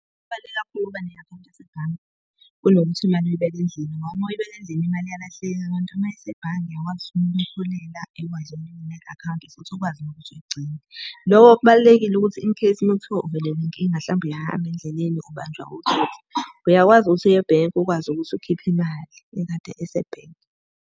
Kubaluleke kakhulu ukuba ne-akhawunti yasebhange, kunokuthi imali uyibeke endlini ngoba uma uyibeka endlini imali iyalahleka, kanti uma isebhange uyakwazi ukumholela, ekwazi ukunginika i-akhawunti futhi ukwazi nokuthi uyigcine. Loko kubalulekile ukuthi incase makuthiwa uvelelwe inkinga hlampe uyahamba endleleni ubanjwa otsotsi, uyakwazi ukuthi uye ebhenki ukwazi ukuthi ukhiphe imali ekade isebhenki.